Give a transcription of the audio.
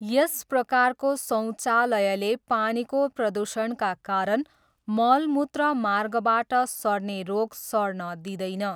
यस प्रकारको शौचालयले पानीको प्रदूषणका कारण मल मूत्र मार्गबाट सर्ने रोग सर्न दिँदैन।